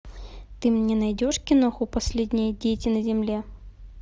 ты мне найдешь киноху последние дети на земле